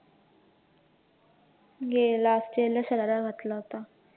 last year ला शरारा घातला होता.